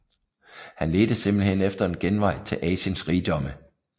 Han ledte simpelthen efter en genvej til Asiens rigdomme